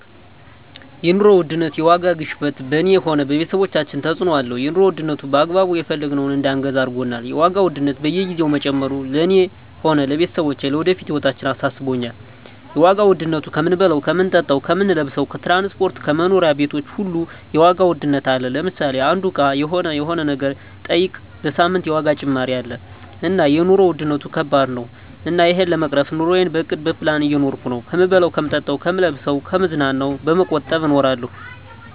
የኑሮ ውድነት የዋጋ ግሽበት በኔ ሆነ በቤተሰቦቻችን ተጽእኖ አለው የኑሮ ዉድነቱ በአግባቡ የፈለግነውን እዳንገዛ አርጎናል የዋጋ ውድነት በየግዜው መጨመሩ ለእኔ ሆነ ለቤተሰቦቸ ለወደፊት ህይወታችን አሳስቦኛል የዋጋ ዉድነቱ ከምንበላው ከምንጠጣው ከምንለብሰው ከትራንስፖርት ከመኖሪያ ቤቶች ሁሉ የዋጋ ውድነት አለ ለምሳሌ አንዱ እቃ ሆነ የሆነ ነገር ጠይቀ በሳምንት የዋጋ ጭማሪ አለ እና የኖሩ ዉድነት ከባድ ነው እና እሄን ለመቅረፍ ኑረየን በእቅድ በፕላን እየኖርኩ ነው ከምበላው ከምጠጣ ከምለብሰው ከምዝናናው በመቆጠብ እኖራለሁ